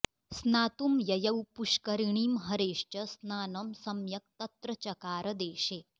स्नातुं ययौ पुष्करिणीं हरेश्च स्नानं सम्यक्तत्र चकार देशे